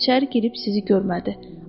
İçəri girib sizi görmədi.